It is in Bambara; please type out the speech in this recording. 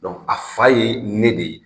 a fa ye ne de ye.